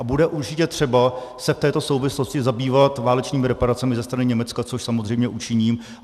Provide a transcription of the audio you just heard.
A bude určitě třeba se v této souvislosti zabývat válečnými reparacemi ze strany Německa, což samozřejmě učiním.